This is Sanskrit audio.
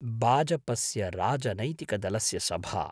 बाजपस्य राजनैतिकदलस्य सभा।